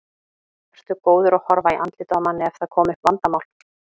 Ertu góður að horfa í andlitið á manni ef það koma upp vandamál?